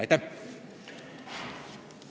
Aitäh!